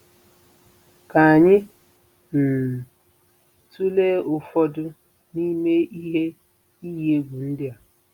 Ka anyị um tụlee ụfọdụ n'ime ihe iyi egwu ndị a.